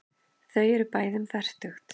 Þau eru bæði um fertugt.